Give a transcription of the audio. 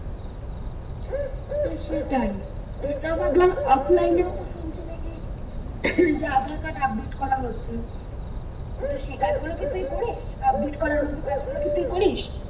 সেটাই তারপর তো এ তো শুনছি নাকি আধার কার্ড update করা হচ্ছে তো সেই কাজ গুলো কি তুই করিস? update করার মতো কাজ গুলো কি তুই করিস?